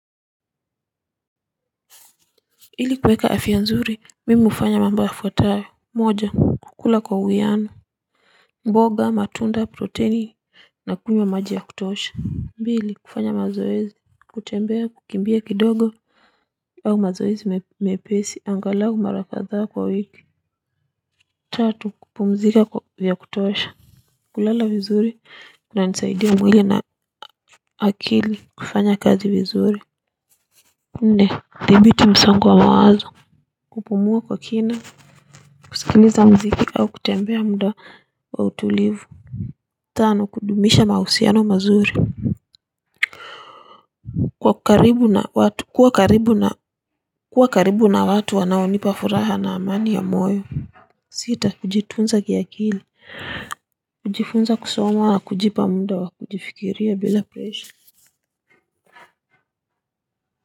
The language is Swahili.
Ili kuweka afya nzuri, mimi hufanya mambo ya kwanza: moja, kukula kwa uwiano mboga, matunda, protini na kunywa maji ya kutosha; mbili, kufanya mazoezi, kutembea, kukimbia kidogo au mazoezi mepesi angalau mara kadhaa kwa wiki. Tatu, kupumzika vya kutosha, kulala vizuri, hunisaidia mwili na akili kufanya kazi vizuri. Nne, kudhibiti msongo wa mawazo, kupumua kwa kina kusikiliza muziki au kutembea muda wa utulivu. Tano, kudumisha mahusiano mazuri, kuwa karibu na watu wanaonipa furaha na amani ya moyo. Sita, kujitunza kiakili. Kujifunza, kusoma, au kujipa muda wa kujifikiria bila presha.